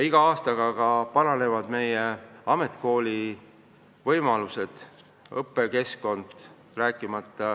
Iga aastaga paranevad ka ametikoolide võimalused ja õppekeskkond.